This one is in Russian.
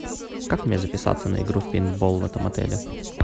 как мне записаться на игру в пейнтбол в этом отеле